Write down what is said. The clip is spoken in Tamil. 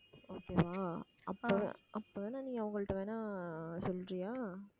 okay வா அப்போ அப்போ நீ அவங்கள்ட்ட வேணா சொல்றியா